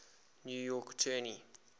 new york attorney